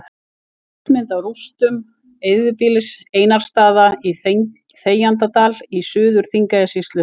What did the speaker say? Loftmynd af rústum eyðibýlisins Einarsstaða í Þegjandadal í Suður-Þingeyjarsýslu.